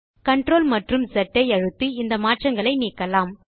CTRL மற்றும் S ஐ அழுத்தி இந்த மாற்றங்களை நீக்கலாம்